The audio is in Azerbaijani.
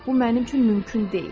Bu mənim üçün mümkün deyil.